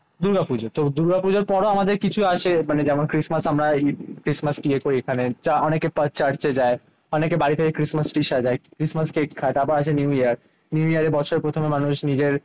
দুর্গাপূজা। তো দুর্গাপূজর পরও আমাদের কিছু আসে মানে যেমন ক্রিসমাস আমরা এই ক্রিসমাস ইয়ে করি এখানে। অনেকে চার্চে যায়। অনেকে বাড়ি থেকে ক্রিসমাস ট্রি সাজায়। ক্রিসমাস কে তারপর আসে নিউ ইয়ার। ইয়ারের বছর প্রথমে মানুষ নিজের